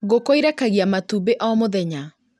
Ngũkũ irekagia matumbĩ o mũthenya